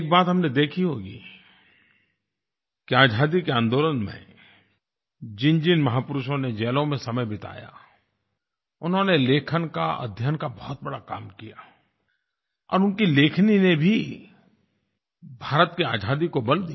एक बात हमने देखी होगी कि आज़ादी के आन्दोलन में जिनजिन महापुरुषों ने जेलों में समय बिताया उन्होंने लेखन का अध्ययन का बहुत बड़ा काम किया और उनकी लेखनी ने भी भारत की आज़ादी को बल दिया